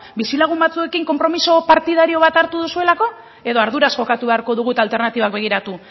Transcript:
bizilagun batzuekin konpromiso partidario bat hartu duzuelako edo arduraz jokatu beharko dugu eta alternatibak begiratu